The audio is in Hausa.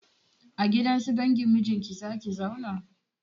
A gidan su dangin mijinki za ki zauna?